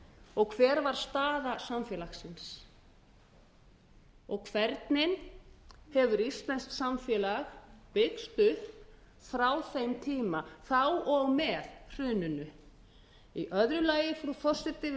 og hver var staða samfélagsins hvernig hefur íslenskt samfélag byggst upp frá þeim tíma frá og með hruninu í öðru lagi frú forseti vil ég